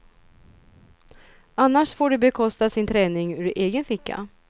Annars får de bekosta sin träning ur egen ficka.